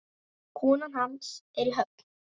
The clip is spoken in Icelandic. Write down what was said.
Konan hans er í Höfn.